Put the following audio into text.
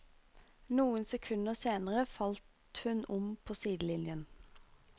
Noen sekunder senere falt hun om på sidelinjen.